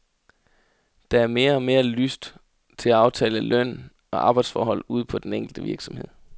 Der er mere og mere lyst til at aftale løn og arbejdsforhold ude på den enkelte virksomhed.